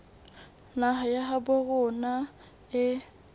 naha ya habo rona e